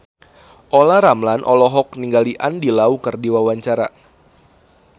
Olla Ramlan olohok ningali Andy Lau keur diwawancara